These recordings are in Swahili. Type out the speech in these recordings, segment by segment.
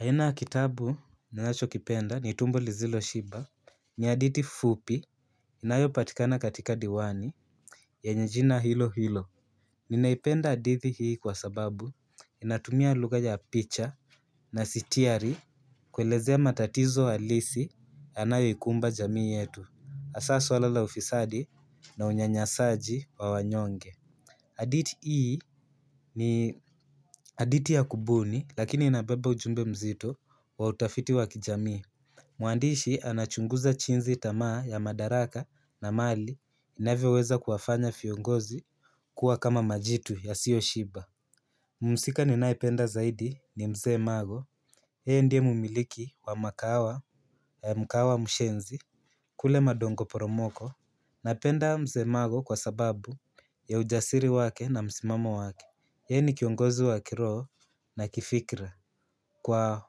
Aina ya kitabu ninacho kipenda ni tumbo lisilo shiba. Ni hadithi fupi inayo patikana katika diwani yenye jina hilo hilo. Ninaipenda hadithi hii kwa sababu inatumia lugha ya picha na sitiari kuelezea matatizo halisi yanayo ikumba jamii yetu hasa suala la ufisadi na unyanyasaji wa wanyonge hadithi hii ni hadithi ya kubuni lakini inabeba ujumbe mzito wa utafiti wa kijamii. Mwandishi anachunguza jinsi tamaa ya madaraka na mali inavyoweza kuwafanya viongozi kuwa kama majitu yasiyo shiba. Mhusika ninae penda zaidi ni mzee mago yeye ndiye mumiliki wa makawa ya mkawa mshenzi. Kule madongo poromoko napenda mzee mago kwa sababu ya ujasiri wake na msimamo wake yeye ni kiongozi wa kiroho na kifikra kwa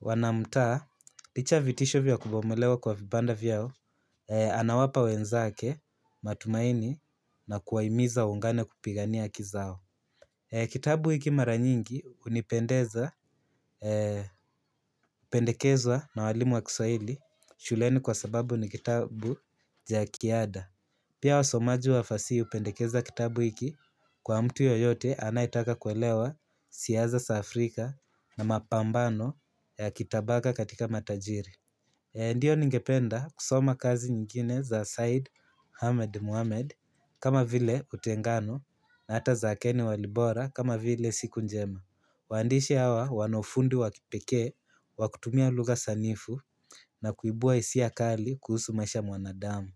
wanamtaa, licha ya vitisho vya kubomolewa kwa vibanda vyao. Anawapa wenzake, matumaini na kuwahimiza waungane kupigania haki zao. Kitabu hiki mara nyingi hunipendeza pendekezwa na walimu wa kiswaili shuleni kwa sababu ni kitabu cha kiada. Pia wasomaji wafasihi hupendekeza kitabu hiki kwa mtu yoyote anayetaka kuelewa siasa za Afrika na mapambano ya kitabaka katika matajiri. Ndiyo ningependa kusoma kazi nyingine za Said Hamed Muhamed kama vile utengano na hata za Ken Walibora kama vile siku njema. Waandishi hawa wanaufundi wa kipekee, wakutumia lugha sanifu na kuibua hisia kali kuhusu maisha ya mwanadamu.